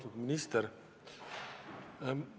Austatud minister!